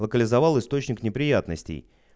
локализовал источник неприятностей